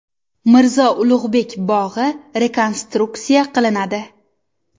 Mirzo Ulug‘bek bog‘i rekonstruksiya qilinadi.